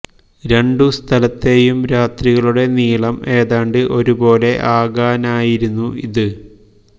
രണ്ടു സ്ഥലത്തെയും രാത്രികളുടെ നീളം ഏതാണ്ട് ഒരുപോലെ ആകാനായിരുന്നു ഇത്